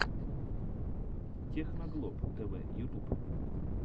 техноглоб тэвэ ютуб